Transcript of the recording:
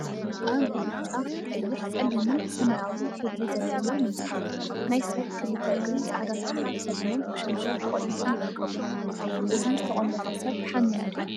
አብ ብፃጫ፣ ቀይሕ፣ ፀሊምን ሰማያዊ ሕብሪ ዘለዎ ምንፃፍ ናይ ሰብ ክልተ እግሪ ፃዕዳ ኩታ ተከዲኖም ብሸንሸል ተቆሊፎም ይርከቡ፡፡ እዚ ዝተቆለፈ ሰብ ሓሚሙ ድዩ?